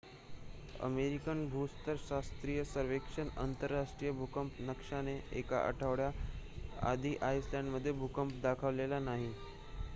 American भूस्तर शास्त्रीय सर्वेक्षण आंतरराष्ट्रीय भूकंप नकाशाने एका आठवड्या आधी आईसलंड मध्ये भूकंप दाखवला नाही